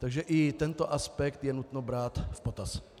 Takže i tento aspekt je nutno brát v potaz.